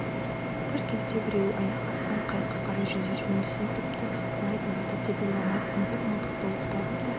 бір кезде біреуі аяқ астынан қайыққа қарай жүзе жөнелсін тіпті бұлай болады деп ойламаппын бір мылтықты оқтадым да